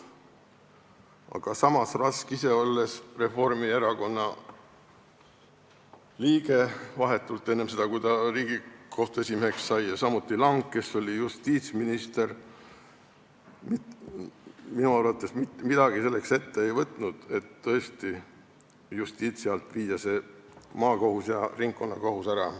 Aga samas Rask, kes oli Reformierakonna liige vahetult enne seda, kui ta Riigikohtu esimeheks sai, ja samuti Lang, kes oli justiitsminister, minu arvates mitte midagi selleks ette ei võtnud, et maakohus ja ringkonnakohus Justiitsministeeriumi alt tõesti ära viia.